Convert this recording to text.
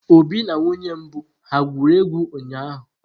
Obi na nwunye mbụ ha gwuru egwu ụnyahụ?